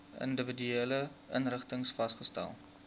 individuele inrigtings vasgestel